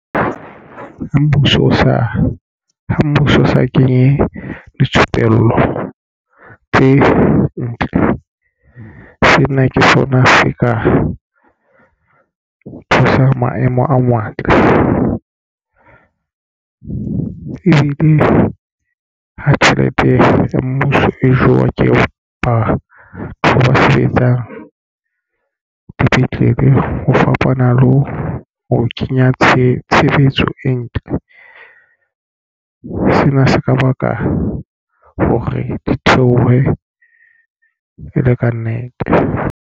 Mmuso o sa ha mmuso o sa kenye dithupello tse ntle sena ke sona Afrika o thusa maemo a ebile ha tjhelete ya mmuso e jewa ke batho ba sebetsang dipetlele ho fapana le ho kenya tshebetso e ntle. Sena se ka baka hore di theohe e le kannete.